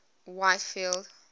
whitfield